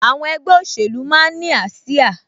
Àwọn ẹgbẹ́ òṣèlú máa ń ní ásíá